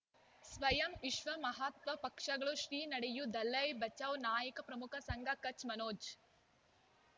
ಸ್ವಯಂ ವಿಶ್ವ ಮಹಾತ್ಮ ಪಕ್ಷಗಳು ಶ್ರೀ ನಡೆಯೂ ದಲೈ ಬಚೌ ನಾಯಕ ಪ್ರಮುಖ ಸಂಘ ಕಚ್ ಮನೋಜ್